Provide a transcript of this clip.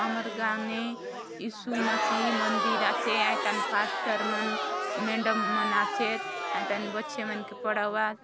हमर गाव मे इशू मशईह मदिर आचे आइकन पास्टर मन मेडम मन आचेत ए तन बच्चे मन के पढ़वात--